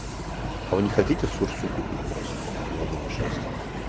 а он не хотите в сушу купить просто они